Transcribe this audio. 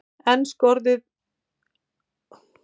Enn skotið á mótmælendur úr lofti